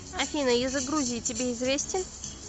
афина язык грузии тебе известен